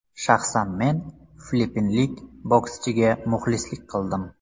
Shaxsan men filippinlik bokschiga muxlislik qildim.